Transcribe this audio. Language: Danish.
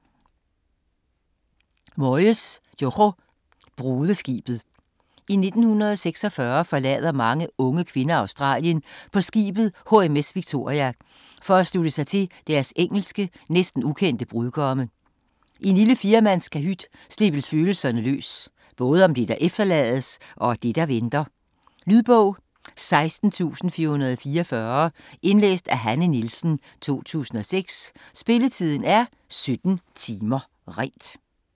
Moyes, Jojo: Brudeskibet I 1946 forlader mange unge kvinder Australien på skibet HMS Victoria for at slutte sig til deres engelske, næsten ukendte brudgomme. I en lille 4-mandskahyt slippes følelserne løs - både om det, der efterlades, og det, der venter. Lydbog 16444 Indlæst af Hanne Nielsen, 2006. Spilletid: 17 timer, 0 minutter.